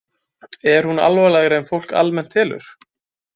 Er hún alvarlegri en fólk almennt telur?